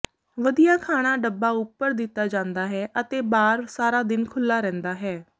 ਵਧੀਆ ਖਾਣਾ ਡੱਬਾ ਉੱਪਰ ਦਿੱਤਾ ਜਾਂਦਾ ਹੈ ਅਤੇ ਬਾਰ ਸਾਰਾ ਦਿਨ ਖੁੱਲ੍ਹਾ ਰਹਿੰਦਾ ਹੈ